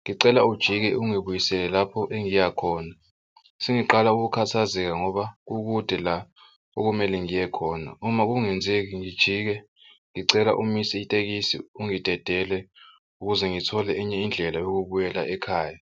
Ngicela ujike ungibuyisele lapho engiya khona. Sengiqala ukukhathazeka ngoba kukude la okumele ngiye khona. Uma kungenzeki ngijike ngicela umise itekisi ungidedele ukuze ngithole enye indlela yokubuyela ekhaya.